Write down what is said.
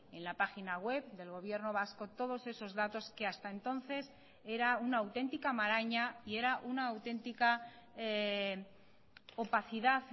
en la página web del gobierno vasco todos esos datos que hasta entonces era una auténtica maraña y era una auténtica opacidad